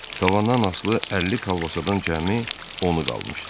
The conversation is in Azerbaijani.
Tavandan asılı 50 kolbasadan cəmi onu qalmışdı.